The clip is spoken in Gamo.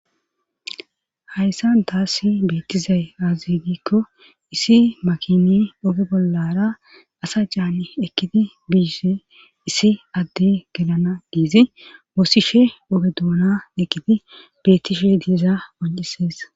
hayssa daassi beettizay aazigikko issi makini oge bollara asa caan ekkidi biise issi adde gelana diizi woosishe oge duuna ekidi bettishe diiza oncisees